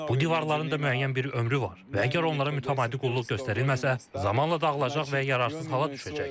Bu divarların da müəyyən bir ömrü var və əgər onlara mütəmadi qulluq göstərilməsə, zamanla dağılacaq və yararsız hala düşəcək.